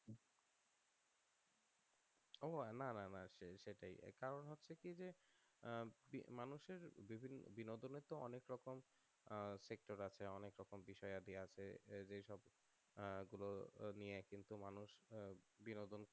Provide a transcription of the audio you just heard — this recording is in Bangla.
ও না না না সেইটাই কারণ হচ্ছে যে মানুষের বিভিন্ন বিনোদনের অনেক রকম টিকটক আছে অনেক রকম বিষয়াদি আছে এই যে এই সব এইগুলো কিন্তু মানুষ বিনোদন